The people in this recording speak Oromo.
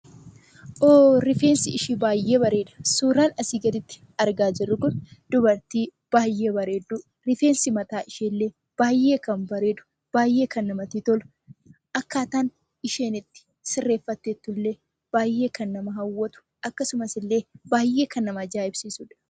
Hoo...! Rifeensi ishee baay'ee bareeda! Suuraan asii gaditti argaa jirru kun dubartii baay'ee bareedduu, rifeensi mataa ishee illee baay'ee kan bareedu, baay'ee kan namatti tolu; akkaataa isheen itti sirreeffattee jirtu illee baay'ee kan nama hawwatu, akkasumas illee baay'ee kan nama ajaa'ibsiisudha.